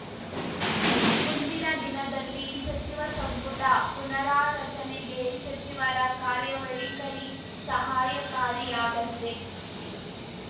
ಮುಂದಿನ ದಿನದಲ್ಲಿ ಸಚಿವಸಂಪುಟ ಪುನಾರಾರಚನೆಗೆ ಸಚಿವರ ಕಾರ್ಯವೈಖರಿ ಸಹಯಕಾರಿಯಾಗಲಿದೆ